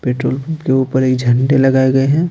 Petrol pump के ऊपर एक झंडे लगाए गए हैं।